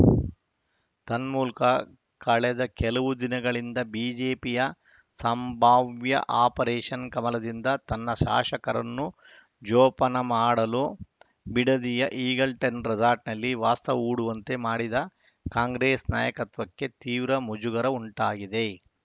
ತನ್ಮೂಲಕ ಕಳೆದ ಕೆಲವು ದಿನಗಳಿಂದ ಬಿಜೆಪಿಯ ಸಂಭಾವ್ಯ ಆಪರೇಷನ್‌ ಕಮಲದಿಂದ ತನ್ನ ಶಾಸಕರನ್ನು ಜೋಪಾನ ಮಾಡಲು ಬಿಡದಿಯ ಈಗಲ್ಟನ್‌ ರೆಸಾರ್ಟ್‌ನಲ್ಲಿ ವಾಸ್ತವ್ಯ ಹೂಡುವಂತೆ ಮಾಡಿದ್ದ ಕಾಂಗ್ರೆಸ್‌ ನಾಯಕತ್ವಕ್ಕೆ ತೀವ್ರ ಮುಜುಗರ ಉಂಟಾಗಿದೆ